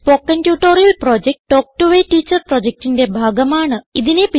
spoken tutorial project talk to a teacher പ്രൊജക്റ്റിന്റെ ഭാഗമാണ്